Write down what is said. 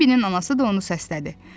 Bembnin anası da onu səslədi.